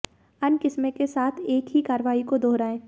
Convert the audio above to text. अन्य किस्में के साथ एक ही कार्रवाई को दोहराएँ